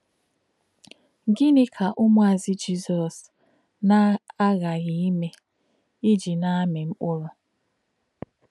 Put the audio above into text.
Gịnị̄ kā̄ ṹmù̄àzù̄ Jizọ́s nā̄-àghà̄ghí̄ ímè̄ íjì̄ nā̄-àmī̄ mkpụ̀rụ́?